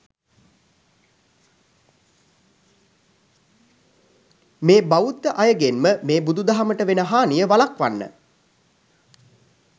මේ බවුද්ද අයගෙන්ම මේ බුදුදහමට වෙන හානිය වලක්වන්න